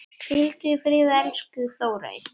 Hvíldu í friði, elsku Þórey.